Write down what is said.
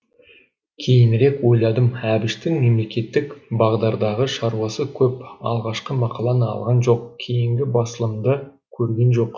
кейінірек ойладым әбіштің мемлекеттік бағдардағы шаруасы көп алғашқы мақаланы алған жоқ кейінгі басылымды көрген жоқ